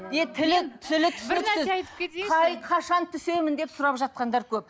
не тілі тілі түсініксіз қашан түсемін деп сұрап жатқандар көп